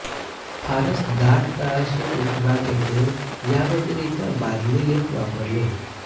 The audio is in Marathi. फारच दाट तळाशी पृष्ठभाग येथे याव्यतिरिक्त बादली लिफ्ट वापरले